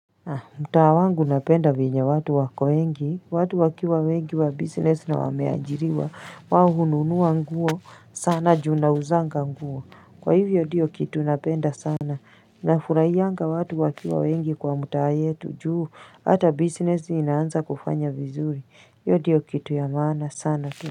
Mtaa wangu napenda venye watu wako wengi, watu wakiwa wengi wa business na wameajiriwa, wao hununua nguo sana ju nauzanga nguo, kwa hivyo dio kitu napenda sana, na furahianga watu wakiwa wengi kwa mtaa yetu, juu, hata business inaanza kufanya vizuri, hiyo dio kitu ya maana sana.